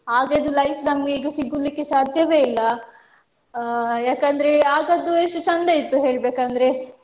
ಆಗದ್ದು life ನಮ್ಗೆ ಈಗ ಸಿಗ್ಲಿಕ್ಕೆ ಸಾಧ್ಯಾ ಇಲ್ಲ ಅಹ್ ಯಾಕಂದ್ರೆ ಆಗದ್ದು ಎಷ್ಟು ಚಂದ ಇತ್ತು ಹೇಳ್ಬೇಕಂದ್ರೆ